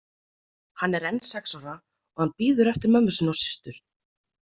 Hann er enn sex ára og hann bíður eftir mömmu sinni og systur.